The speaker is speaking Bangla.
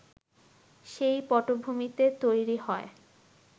সেই পটভূমিতে তৈরি হয়